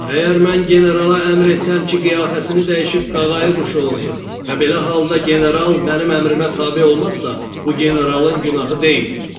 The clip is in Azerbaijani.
Əgər mən generala əmr etsəm ki, qiyafəsini dəyişib qağayı quşu olsun və belə halda general mənim əmrimə tabe olmazsa, bu generalın günahı deyil.